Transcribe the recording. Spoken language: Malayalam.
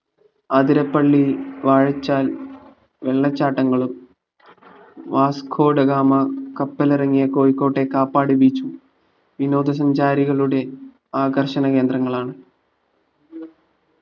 ആതിരപ്പള്ളി വാഴച്ചാൽ വെള്ളച്ചാട്ടങ്ങളും വാസ്കോഡഗാമ കപ്പലെറങ്ങിയ കോഴിക്കോട്ടെ കാപ്പാട് beach ഉം വിനോദ സഞ്ചാരികളുടെ ആകർഷണ കേന്ദ്രങ്ങളാണ്